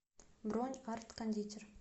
бронь арт кондитер